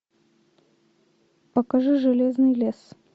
покажи железный лес